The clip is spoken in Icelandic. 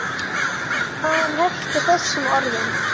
Sagan hefst á þessum orðum